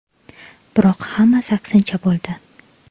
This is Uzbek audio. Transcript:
Biroq hammasi aksincha bo‘ldi.